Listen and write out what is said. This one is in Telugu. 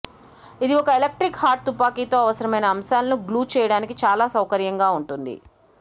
ఇది ఒక ఎలక్ట్రిక్ హాట్ తుపాకీతో అవసరమైన అంశాలను గ్లూ చేయడానికి చాలా సౌకర్యంగా ఉంటుంది